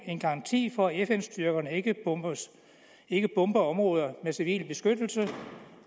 er en garanti for at fn styrkerne ikke ikke bomber områder med civil beskyttelse